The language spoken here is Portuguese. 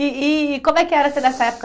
E e como é que era você nessa época?